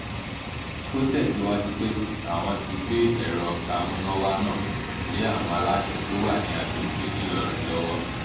ó tẹ̀síwájú pé àwọn ti gbé ẹ̀rọ amúnáwá náà lé àwọn aláṣẹ tó wà ní àgbègbè ńìlọrin lọ́wọ́